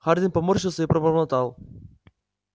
хардин поморщился и пробормотал